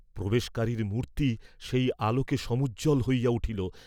প্রবেশকারীর মূর্ত্তি সেই আলোকে সমুজ্জ্বল হইয়া উঠিল।